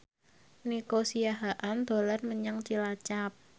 Nico Siahaan dolan menyang Cilacap